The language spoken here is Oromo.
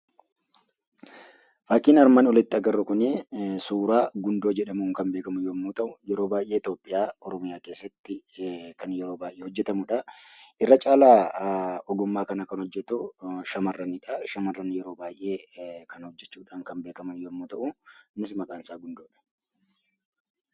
Fakiin armaan oliitti arginu kun suuraa gundoo jedhamuun kan beekkamu yommuu ta'u yeroo baay'ee Itoophiyaa Oromiyaa keessatti kan hojjetamudha. Irra caala ogummaa kana kan hojjetu shamarranidha. Shamarran yeroo baay'ee kana hojjechuudhaan kan beekaman yemmuu ta'u Kunis maqaan isaa gundoodha.